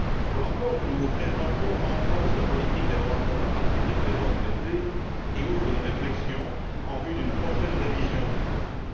Le rapport que nous vous présentons renforce la politique des droits de l'homme à partir des présents traités et ouvre une réflexion en vue d'une prochaine révision des traités.